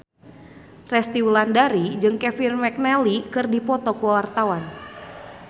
Resty Wulandari jeung Kevin McNally keur dipoto ku wartawan